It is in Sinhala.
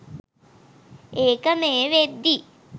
ඒක මේ වෙද්දි.